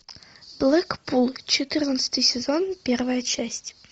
блэкпул четырнадцатый сезон первая часть